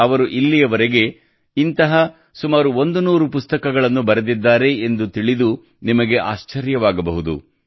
ಅವರು ಇಲ್ಲಿಯವರೆಗೆ ಇಂತಹ ಸುಮಾರು 100 ಪುಸ್ತಕಗಳನ್ನು ಬರೆದಿದ್ದಾರೆ ಎಂದು ತಿಳಿದು ನಿಮಗೆ ಆಶ್ಚರ್ಯವಾಗಬಹುದು